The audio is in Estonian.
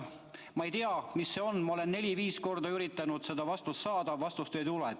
Ma ei tea, mis see on – ma olen neli-viis korda üritanud seda vastust saada, vastust ei tule.